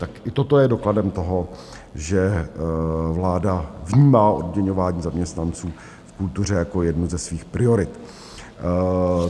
Tak i toto je dokladem toho, že vláda vnímá odměňování zaměstnanců v kultuře jako jednu ze svých priorit.